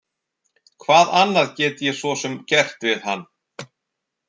Hvað annað get ég svo sem gert við hann?